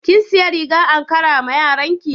Kin siya rigar ankara ma yaranki?